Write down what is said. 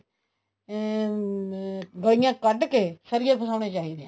ਅਹ ਗੱਲੀਆਂ ਕੱਢਕੇ ਸਰੀਏ ਪਸਾਉਣੇ ਚਾਹੀਦੇ ਆ